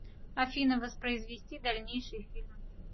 афина воспроизвести дальнейший фильм